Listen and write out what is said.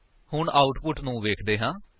ਹੁਣ ਆਉਟਪੁਟ ਨੂੰ ਵੇਖਦੇ ਹਾਂ